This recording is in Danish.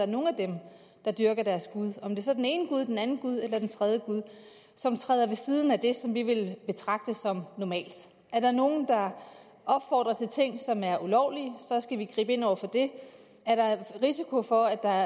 nogle af dem der dyrker deres gud om det så er den ene gud den anden gud eller den tredje gud som træder ved siden af det som vi vil betragte som normalt er der nogen der opfordrer til ting som er ulovlige så skal vi gribe ind over for det er der risiko for at der